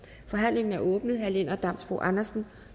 forhandlingen er åbnet herre lennart damsbo andersen